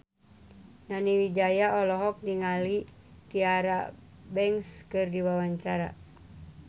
Nani Wijaya olohok ningali Tyra Banks keur diwawancara